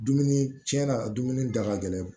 Dumuni tiɲɛna a dumuni da ka gɛlɛn